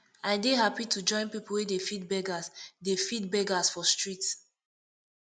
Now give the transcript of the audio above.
i dey hapi to join pipu wey dey feed beggers dey feed beggers for street